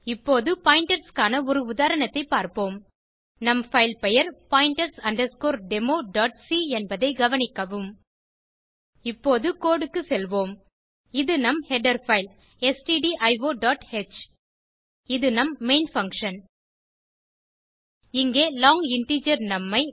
இப்போது பாயிண்டர்ஸ் க்கான ஒரு உதாரணத்தைப் பார்ப்போம் நம் பைல் பெயர் pointers democ என்பதை கவனிக்கவும் இப்போது கோடு க்கு செல்வோம் இது நம் ஹெடர் பைல் stdioஹ் இது நம் மெயின் பங்ஷன் இங்கே லாங் இன்டிஜர் நும் ஐ